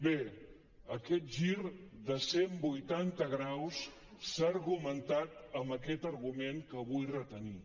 bé aquest gir de cent vuitanta graus s’ha argumentat amb aquest argument que vull retenir